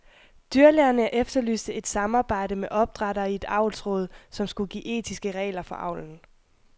Dyrlægerne efterlyste et samarbejde med opdrættere i et avlsråd, som skulle give etiske regler for avlen.